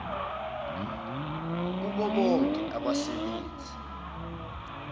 kubo bonke abasebenzi